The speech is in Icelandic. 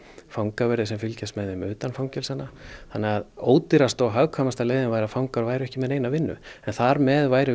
fangaverði sem fylgjast með þeim utan fangelsanna þannig að ódýrasta og hagkvæmasta leiðin væri að fangar væru ekki með vinnu en þar með værum við